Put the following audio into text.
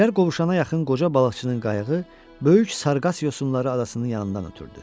Şər qovşanına yaxın qoca balıqçının qayığı, böyük sarqas yosunları adasının yanından ötrüdü.